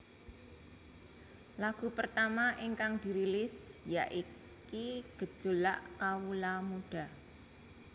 Lagu pertama ingkang dirilis yaiki Gejolak Kawula Muda